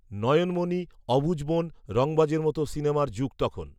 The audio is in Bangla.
নয়নমনি, অবুঝমন, রংবাজের মতো সিনেমার যুগ তখন